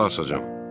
Mən qulaq asacam.